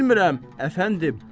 Bilmirəm, əfəndim.